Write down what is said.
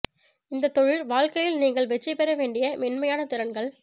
இந்த தொழில் வாழ்க்கையில் நீங்கள் வெற்றி பெற வேண்டிய மென்மையான திறன்கள்